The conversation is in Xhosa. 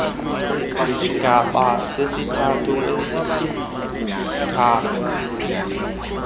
isigaba sesithathu kwesisigaba